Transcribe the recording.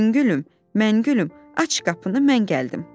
Şüngülüm, məngülüm, aç qapını, mən gəldim.